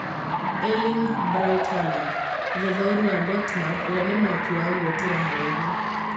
Erling Braut Haaland: mũthathaũri wa Dortmund ũrĩa nĩ mwaki wa guotera haraihu